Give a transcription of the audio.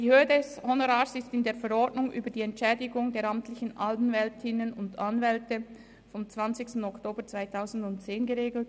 Die Höhe des Honorars ist in der Verordnung über die Entschädigung der amtlichen Anwältinnen und Anwälte vom 20. Oktober 2010 (EAV) geregelt.